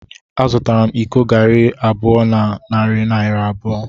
Azụtara m iko garri abụọ na narị naira abụọ.